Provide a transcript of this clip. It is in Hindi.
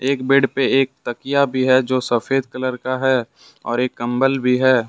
एक बेड पे एक तकिया भी है जो सफेद कलर का है और एक कंबल भी है।